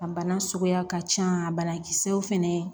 A bana suguya ka can a banakisɛw fɛnɛ